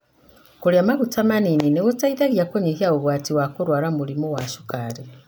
Kũrĩa maguta manini nĩgũteithagia kũnyihia ũgwati wa kũrwara mũrimũ wa cukari.